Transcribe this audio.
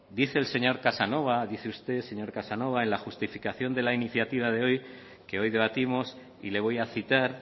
dice el señor casanova dice usted señor casanova en la justificación de la iniciativa de hoy que hoy debatimos y le voy a citar